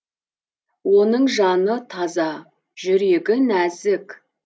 оның жаны таза жүрегі нәзік